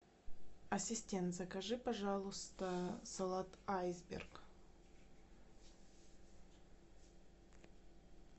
ассистент закажи пожалуйста салат айсберг